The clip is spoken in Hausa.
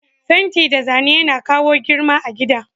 Fenti da Zane Yana kawo girma a gida.